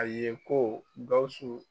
A ye ko Gawusu